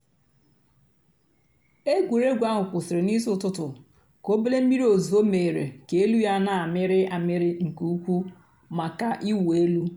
ègwùrégwú àhú́ kwụ́sị́rị́ n'ìsí ụ́tụtú kà òbèlé m̀mìrí ózùzó mèéré kà èlú yá nà-àmị́rị́ àmị́rị́ nkè ùkwú màkà ị̀wụ́ èlú.